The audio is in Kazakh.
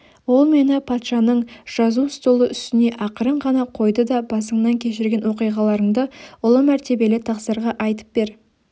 ол мені патшаның жазу столы үстіне ақырын ғана қойды да басыңнан кешірген оқиғаларыңды ұлы мәртебелі тақсырға айтып бер